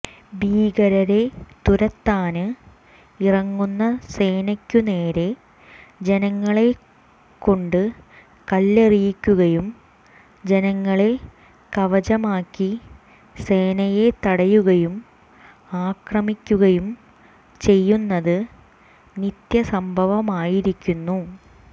ഭീകരരെ തുരത്താന് ഇറങ്ങുന്ന സേനയ്ക്കുനേരെ ജനങ്ങളെക്കെണ്ട് കല്ലെറിയിക്കുകയും ജനങ്ങളെ കവചമാക്കി സേനയെ തടയുകയും ആക്രമിക്കുകയും ചെയ്യുന്നത് നിത്യസംഭവമായിരിക്കുന്നു